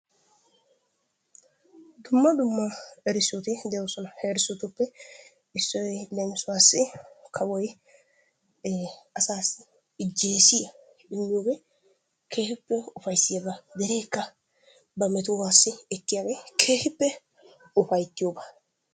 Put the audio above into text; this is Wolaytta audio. Dumma dumma erissoti de'oosona. He erissotuppe issoy leemisuwassi kawoy ee asaassi ijjeesiya immiyogee keehippe ufayissiyaba. Dereekka ba metuwassi ekkiyagee keehippe ufayittiyogaa.